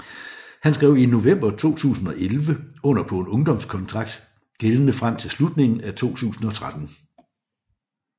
Han skrev i november 2011 under på en ungdomskontrakt gældende frem til slutningen af 2013